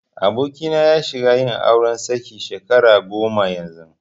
Abokina ya shiga yin auri saki shekara goma yanzu.